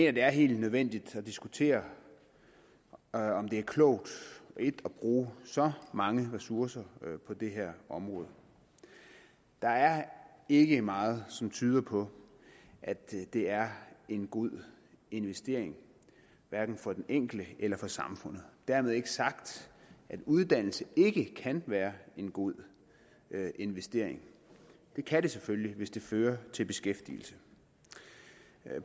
at det er helt nødvendigt at diskutere om det er klogt at bruge så mange ressourcer på det her område der er ikke meget som tyder på at det er en god investering hverken for den enkelte eller for samfundet dermed ikke sagt at uddannelse ikke kan være en god investering det kan det selvfølgelig hvis det fører til beskæftigelse